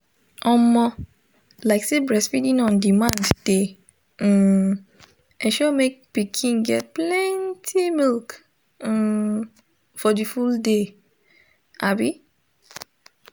omo lyk say breastfeeding on demand de um ensure make pikin get plenty milk um for the full day um